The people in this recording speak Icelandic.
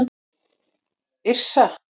Yrsa